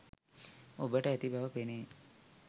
ඔබට ඇති බව පෙනේ